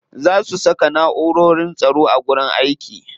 Za su saka na'urorin tsaro a wajen aiki.